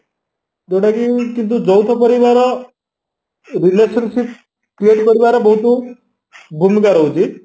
ଯୋଉଟାକି କିନ୍ତୁ ଯୌଥ ପରିବାର relationship create କରିବାରେ ବହୁତ ଭୂମିକା ରହୁଛି